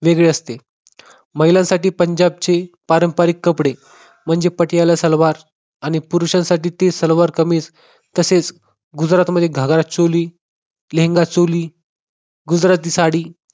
वेगळी असते. महिलांसाठी पंजाबचे पारंपारिक कपडे म्हणजे पटियाला सलवार आणि पुरुषांसाठी ती सलवार-कमीज तसेच गुजरातमध्ये घागरा-चोली लेहंगा-चोली गुजराती साडी